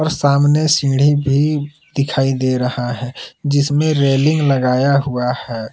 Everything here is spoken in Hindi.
सामने सीढ़ी भी दिखाई दे रहा है जिसमें रेलिंग लगाया हुआ है।